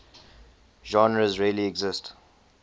genres really exist